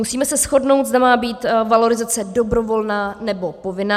Musíme se shodnout, zda má být valorizace dobrovolná, nebo povinná.